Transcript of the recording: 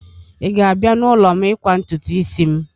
Ị ga-abịa n'ụlọ m ịkwa ntutu isi m?